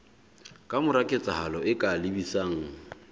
kamora ketsahalo e ka lebisang